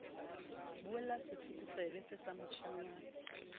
buella setlokotsebe see sa moshanyana